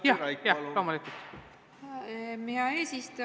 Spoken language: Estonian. Aitäh, hea eesistuja!